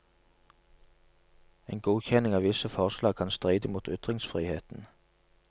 En godkjenning av visse forlag kan stride mot ytringsfriheten.